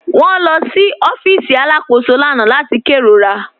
Wọn lọ sí ọ̀fíìsì alákòsó lána láti kẹrórà.